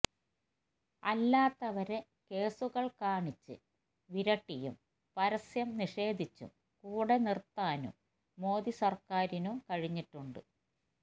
അല്ലാത്തവരെ കേസുകള് കാണിച്ച് വിരട്ടിയും പരസ്യം നിഷേധിച്ചും കൂടെനിർത്താനും മോദി സർക്കാറിനു കഴിഞ്ഞിട്ടുണ്ട്